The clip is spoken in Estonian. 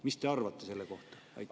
Mida te arvate selle kohta?